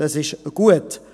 Das ist gut.